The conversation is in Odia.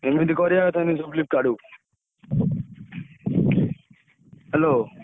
ଏମିତି କରିଆ ସେମିତି ।